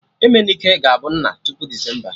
Emenike ga-abụ nna tupu Desemba